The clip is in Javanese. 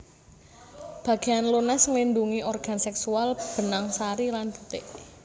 Bagéan lunas nglindhungi organ sèksual benang sari lan putik